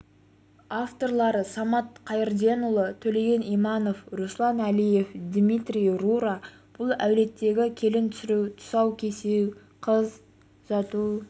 авторлары самат қайырденұлы төлеген иманов руслан әлиев дмитрий рура бұл әулеттегі келін түсіру тұсау кесу қыз